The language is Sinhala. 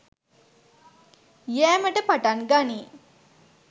යෑමට පටන් ගනියි.